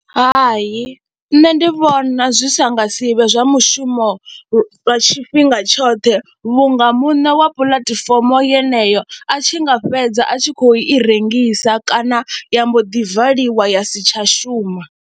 Hai, nṋe ndi vhona zwi si nga si vhe zwa mushumo lwa tshifhinga tshoṱhe vhunga muṋe wa puḽatifomo yeneyo a tshi nga fhedza a tshi khou i rengisa kana ya mbo ḓi valiwa ya si tsha shuma.